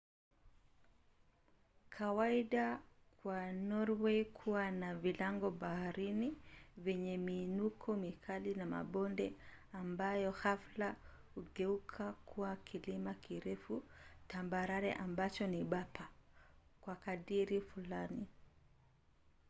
kawaida kwa norwei kuwa na vilango-bahari vyenye miinuko mikali na mabonde ambayo ghafla hugeuka kuwa kilima kirefu tambarare ambacho ni bapa kwa kadiri fulani